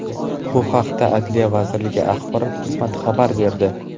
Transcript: Bu haqda Adliya vazirligi axborot xizmati xabar berdi .